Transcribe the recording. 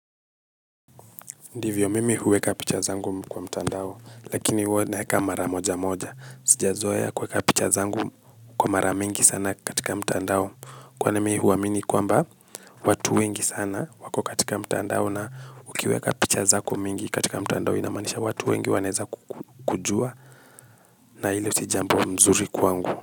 Ndivyo mimi huweka picha zangu kwa mtandao lakini huwa naeka mara moja moja sijazoea kuweka picha zangu kwa mara mingi sana katika mtandao kwani mi huamini kwamba watu wengi sana wako katika mtandao na ukiweka picha zako mingi katika mtandao inamaanisha watu wengi wanaeza kujua. Na hilo si jambo nzuri kwangu.